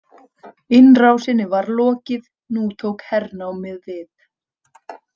Innrásinni var lokið, nú tók hernámið við.